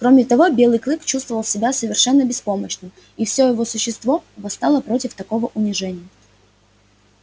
кроме того белый клык чувствовал себя совершенно беспомощным и всё его существо восставало против такого унижения